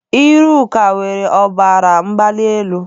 Iruka nwere ọbara mgbali elu.